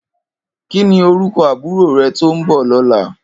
Kini órúkò àbúró rè tó n bò lòlá?